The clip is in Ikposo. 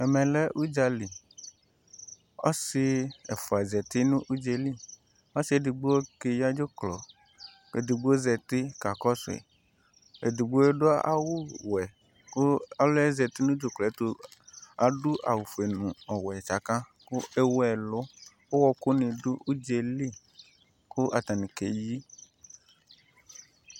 Ɛmɛ lɛ uɗzali, ɔsɩ ɛfua zatɩ nu udzeli Ɔsi eɖigbo keɣa ɖzuklɔ keɖɩgbo zatɩ kakɔ sui Ẹɖigboa ɖu awu bɔɛku ɔluie zatɩ nu ɖzuklɔɛ tu aɖu awu foe nu ɔwɛ tsaka ku ewu ɛ lu Uwɔku nɩ ɖu uɖzelɩ ku atanɩ keyɩ